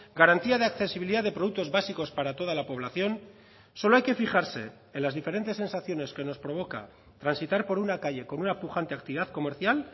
garantía de accesibilidad de productos básicos para toda la población solo hay que fijarse en las diferentes sensaciones que nos provoca transitar por una calle con una pujante actividad comercial